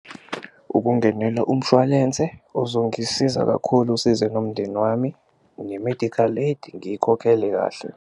Ukungenela umshwalense ozongisiza kakhulu usize nomndeni wami, ne-medical aid ngiyikhokhele kahle.